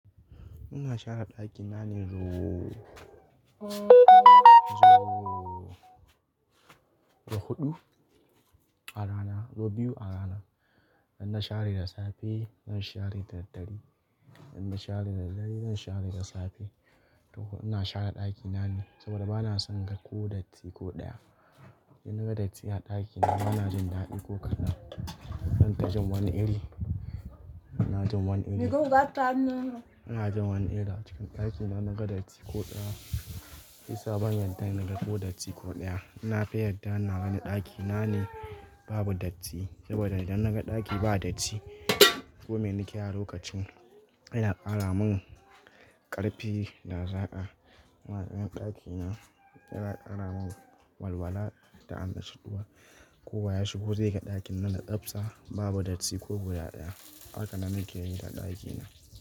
Ina share ɗakina ne ru-- zo, so huɗu a rana, so biyu a rana. Idan na share da safe, zan share da dare. Idan na share da dare, zan share da safe. To ina share ɗakina ne saboda bana son gan ko datti ko ɗaya. In naga datti a ɗakina bana jin daɗi ko kaɗan. Zan taji wani iri, ina jin wani iri. Ina jin wani iri a cikin ɗakinnna gan datti ko ɗaya. I sabon yadda inaga ko datti ko ɗaya. Na fi yadda naga ni ɗakina ne babu datti saboda idan naga ɗaki ba datti, kome nake yi a lokacin yana ƙara mun ƙarfi da zaa'a. Waɗannan ɗakina yana ƙara mun walwala da amma shudduwa. Ko ba ya shigo zai ga ɗakin nan na tsabsa babu datti ko guda ɗaya. Haka na muke yin ta ɗakina.